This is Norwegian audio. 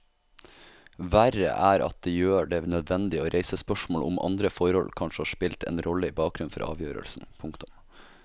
Verre er at det gjør det nødvendig å reise spørsmål om andre forhold kanskje har spilt en rolle i bakgrunnen for avgjørelsen. punktum